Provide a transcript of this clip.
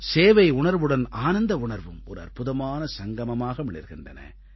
சேவை உணர்வுடன் ஆனந்த உணர்வும் ஒரு அற்புதமான சங்கமமாக மிளிர்கின்றன